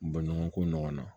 Bɔɲɔgɔnko ɲɔgɔn na